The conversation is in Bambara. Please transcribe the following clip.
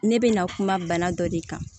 Ne bɛ na kuma bana dɔ de kan